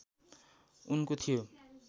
उनको थियो